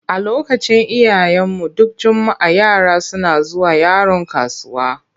A lokacin iyayenmu, duk juma'a yara suna zuwa Yaron kasuwa.